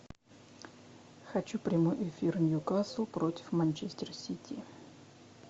хочу прямой эфир ньюкасл против манчестер сити